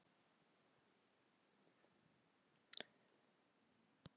Magnús Hlynur: Hvernig gekk veiðin í sumar?